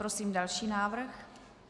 Prosím další návrh.